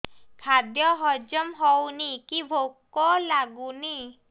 ଖାଦ୍ୟ ହଜମ ହଉନି କି ଭୋକ ଲାଗୁନି